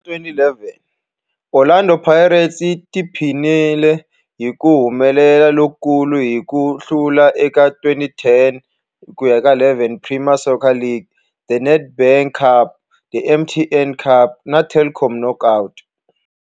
Hi lembe ra 2011, Orlando Pirates yi tiphinile hi ku humelela lokukulu hi ku hlula eka 2010-11 Premier Soccer League, The Nedbank Cup, The MTN 8 Cup na The Telkom Knockout.